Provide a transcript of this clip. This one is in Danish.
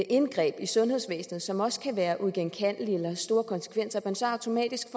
indgreb i sundhedsvæsenet som også kan være uigenkaldelige eller have store konsekvenser så automatisk